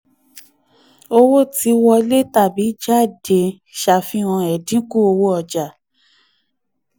owó tí wọlé tàbí jáde ṣàfihàn ẹ̀dínkù owó ọja.